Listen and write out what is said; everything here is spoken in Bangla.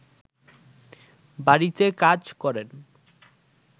বাড়িতে কাজ করেন